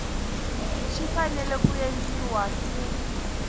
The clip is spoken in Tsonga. xi fanele ku endliwa ku